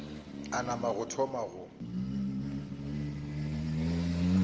a nama a thoma go